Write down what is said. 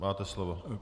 Máte slovo.